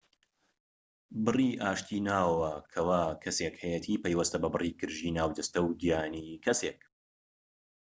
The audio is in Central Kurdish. بڕی ئاشتی ناوەوە کەوا کەسێک هەیەتی پەیوەستە بە بڕی گرژیی ناو جەستە و گیانی کەسێک